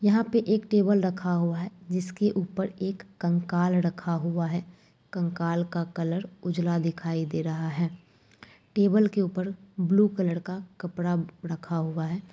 यहाँ पे एक टेबल रखा हुआ है जिसके ऊपर एक कंकाल रखा हुआ है। कंकाल का कलर उजला दिखाई दे रहा है। टेबल के ऊपर ब्लू कलर का कपड़ा रखा हुआ है।